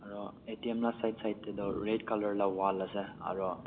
aro atm la side side tatoh red colour laka wall ase aro--